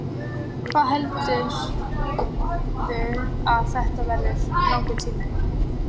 Hvað heldurðu að þetta verði langur tími?